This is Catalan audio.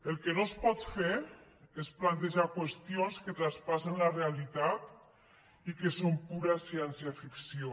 el que no es pot fer és plantejar qüestions que traspassen la realitat i que són pura ciència ficció